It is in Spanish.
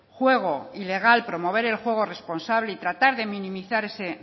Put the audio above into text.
juego ilegal promover el juego responsable y tratar de minimizar ese